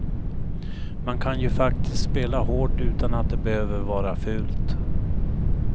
Man kan ju faktiskt spela hårt utan att det behöver vara fult.